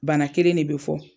Bana kelen de bɛ fɔ.